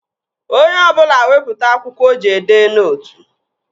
Onye ọbụla wepụta akwụkwọ o ji edee nootu!